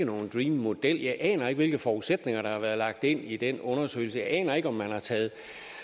nogen dream model jeg aner ikke hvilke forudsætninger der har været lagt ind i den undersøgelse jeg aner ikke om man har taget